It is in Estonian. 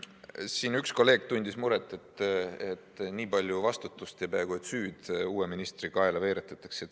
Siin üks kolleeg tundis muret, et nii palju vastutust ja peaaegu et süüd uue ministri kaela veeretatakse.